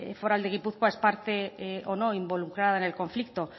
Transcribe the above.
foral de gipuzkoa es parte o no involucrada en el conflicto